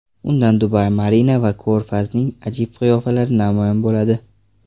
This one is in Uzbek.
Undan Dubai Marina va ko‘rfazning ajib qiyofalari namoyon bo‘ladi.